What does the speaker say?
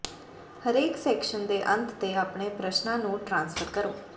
ਹਰੇਕ ਸੈਕਸ਼ਨ ਦੇ ਅੰਤ ਤੇ ਆਪਣੇ ਪ੍ਰਸ਼ਨਾਂ ਨੂੰ ਟ੍ਰਾਂਸਫਰ ਕਰੋ